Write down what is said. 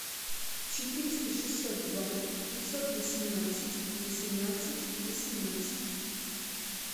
четыреста шестьсот два пятьсот восемнадцать восемнадцать восемнадцать